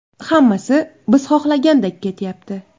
Hammasi biz xohlagandek ketyapti.